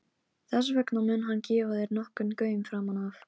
Þess vegna mun hann gefa þér nokkurn gaum framan af.